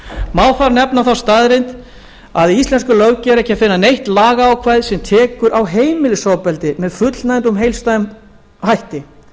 má þar nefna þá staðreynd að í íslenskri löggjöf er ekki að finna neitt lagaákvæði sem tekur á heimilisofbeldi með fullnægjandi og heildstæðum hætti